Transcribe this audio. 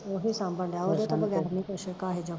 ਓਹੀ ਸਾਂਬਣਡਿਆ ਓਦੇ ਤੋਂ ਬਗੈਰ ਨੀ ਕੁਸ਼ ਕਾਹੇ ਜੋਗਾ